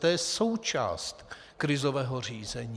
To je součást krizového řízení.